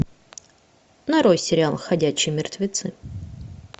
нарой сериал ходячие мертвецы